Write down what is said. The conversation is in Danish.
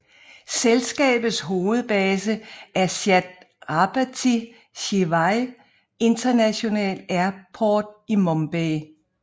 Selskabets hovedbase er Chhatrapati Shivaji International Airport i Mumbai